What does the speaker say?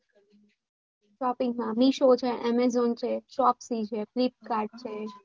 shopping માં meesho છે amazon છે shopsy છે flipcart છે.